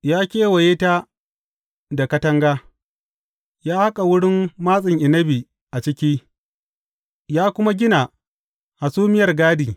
Ya kewaye ta da katanga, ya haƙa wurin matsin inabi a ciki, ya kuma gina hasumiyar gadi.